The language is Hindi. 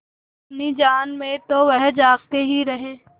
अपनी जान में तो वह जागते ही रहे